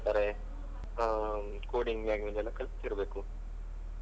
ಏನ್ ಹೇಳ್ತಾರೆ coding language ಆಗಿರೊದ್ಯೆಲ್ಲಾ ಕಲ್ತಿರ್ಬೇಕು.